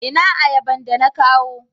ina ayaban da na kawo?